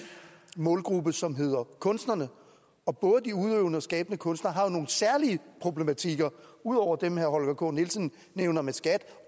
målgruppe som hedder kunstnere og både de udøvende og skabende kunstnere har jo nogle særlige problematikker ud over dem herre holger k nielsen nævner med skat